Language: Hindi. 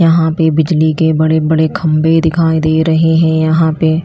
यहां पे बिजली के बड़े बड़े खंभे दिखाई दे रहे हैं यहां पे।